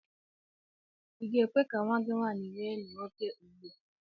I ga-ekwe ka nnwa gị nwaanyị nwee enyi nwoke ugbu a?